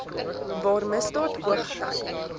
waar misdaad hoogty